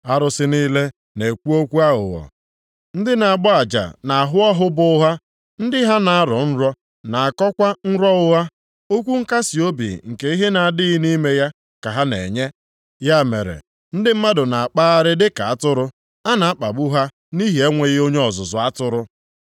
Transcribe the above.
Arụsị niile na-ekwu okwu aghụghọ, ndị na-agba aja nʼahụ ọhụ bụ ụgha, ndị ha na-arọ nrọ, na-akọwakwa nrọ ụgha, okwu nkasiobi nke ihe na-adịghị nʼime ya ka ha na-enye. Ya mere, ndị mmadụ na-akpagharị dịka atụrụ a na-akpagbu ha nʼihi enweghị onye ọzụzụ atụrụ.